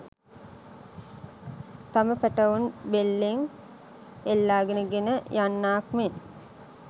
තම පැටවුන් බෙල්ලෙන් එල්ලාගෙන ගෙන යන්නාක් මෙන්